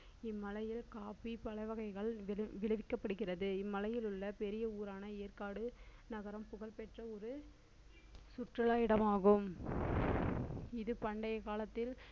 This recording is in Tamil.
இம்மலையில் coffee பழவகைகள் விதை~ விளைவிக்கப்படுகிறது இம்மலையில் உள்ள பெரிய ஊரான ஏற்காடு நகரம் புகழ்பெற்ற ஒரு சுற்றுலா இடமாகும் இது பண்டையக் காலத்தில்